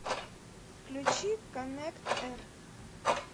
включи коннект эр